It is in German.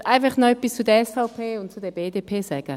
Ich möchte einfach noch etwas zur SVP und zur BDP sagen.